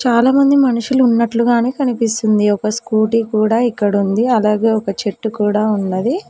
చాలా మంది మనుషులు ఉన్నట్లుగానే కనిపిస్తుంది ఒక స్కూటీ కూడా ఇక్కడ ఉంది అలాగే ఒక చెట్టు కూడా ఉన్నది.